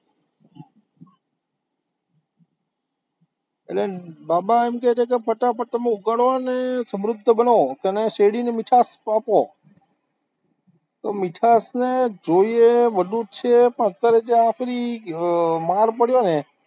એટલે બાબા એમ કે છે કે ફટાફટ તમે ઉગાડો અને સમૃદ્ધ બનો, તેને શેરડીની મીઠાસ આપો તો મીઠાસને જોઈએ એ બધું જ છે પણ અત્યારે જ્યાં સુધી માલ પડ્યો ને